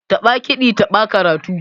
Taɓa kiɗi taɓa karatu.